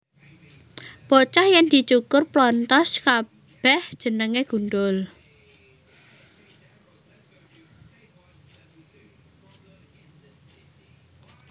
Bocah yèn dicukur plonthos kabèh jenengé gundhul